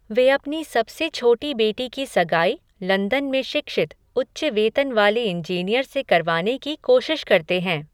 वे अपनी सबसे छोटी बेटी की सगाई लंदन में शिक्षित, उच्च वेतन वाले इंजीनियर से करवाने की कोशिश करते हैं।